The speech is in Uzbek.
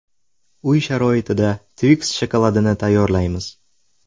Uy sharoitida Twix shokoladini tayyorlaymiz.